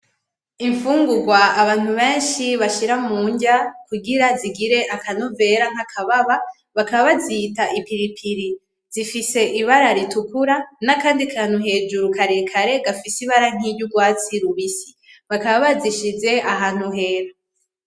Imfugurwa abantu benshi bashira munrya, kugira zigire akanovera kababa, bakaba bazita ipilipili zifise ibara ritukura nakandi kantu hejuru karekare gafise ibara nkiryu rwatsi rubisi, bakaba bazishize ahantu hera.